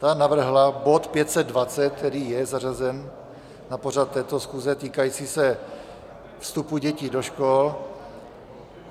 Ta navrhla bod 520, který je zařazen na pořad této schůze, týkající se vstupu dětí do škol.